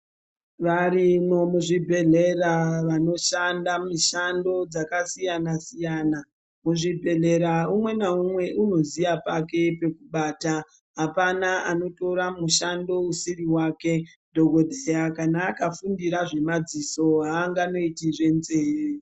Varimo muzvibhedhlera vanoshanda mishando dzakasiyana -siyana, muzvhibhedhlera umwe naumwe unoziya pake pekubata apana anotora mushando usiri wake dhokotera kana akafundira zvemadziso anganoiti zvenzee.